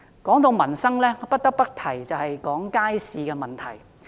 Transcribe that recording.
談到民生，不得不提街市的問題。